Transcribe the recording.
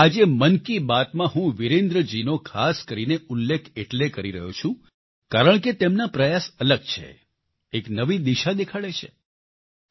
પરંતુ આજે મન કી બાતમાં હું વિરેન્દ્ર જીનો ખાસ કરીને ઉલ્લેખ એટલે કરી રહ્યો છું કારણ કે તેમના પ્રયાસ અલગ છે એક નવી દિશા દેખાડે છે